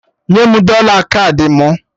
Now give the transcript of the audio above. Nye m dọla kaadị mụ!